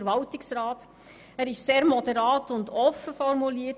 Der Antrag ist sehr moderat und offen formuliert.